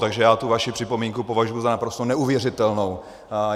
Takže já tu vaši připomínku považuji za naprosto neuvěřitelnou.